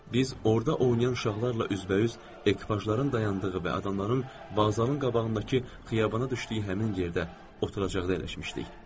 Biz orda oynayan uşaqlarla üzbəüz, ekipajların dayandığı və adamların bazarın qabağındakı xiyabana düşdüyü həmin yerdə oturacaqda əyləşmişdik.